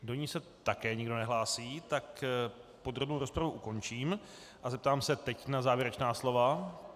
Do ní se také nikdo nehlásí, tak podrobnou rozpravu ukončím a zeptám se teď na závěrečná slova.